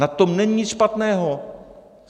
Na tom není nic špatného.